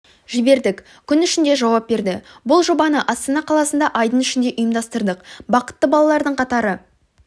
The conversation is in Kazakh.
жібердік күн ішінде жауап берді бұл жобаны астана қаласында айдың ішінде ұйымдастырдық бақытты балалардың қатары